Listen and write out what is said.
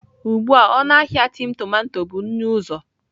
Ugbu a ọnụ ahịa tin tomato bụ nnụ-uzo.